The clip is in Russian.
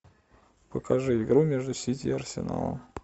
покажи игру между сити и арсеналом